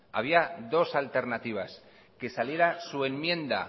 había dos alternativas que saliera su enmienda